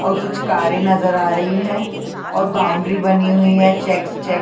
और कुछ कारे नज़र आ रही है और बाउंड्री बनी हुई है चेक्स चेक --